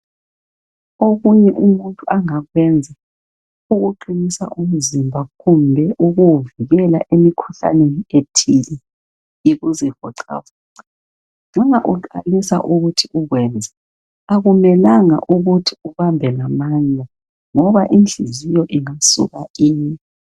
Okunye umuntu angakwenza ukuqinisa umzimba kumbe ukuwuvikela emikhuhlaneni ethile yikuzivoxavoxa. Uma uqalisa ukuthi ukwenze akumelanga ukuthi ubambe ngamandla ngoba inhliziyo ingasuka ime.